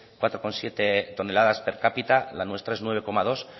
cuatro coma siete toneladas per cápita la nuestra es nueve coma dos